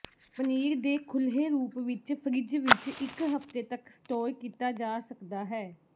ਪਨੀਰ ਦੇ ਖੁੱਲ੍ਹੇ ਰੂਪ ਵਿੱਚ ਫਰਿੱਜ ਵਿਚ ਇਕ ਹਫ਼ਤੇ ਤੱਕ ਸਟੋਰ ਕੀਤਾ ਜਾ ਸਕਦਾ ਹੈ